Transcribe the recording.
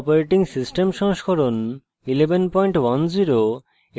ubuntu operating system সংস্করণ 1110 এবং